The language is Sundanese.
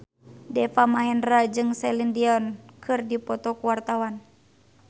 Deva Mahendra jeung Celine Dion keur dipoto ku wartawan